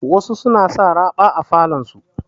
Wasu suna sa raɓa a falon su.